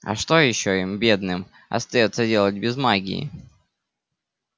а что ещё им бедным остаётся делать без магии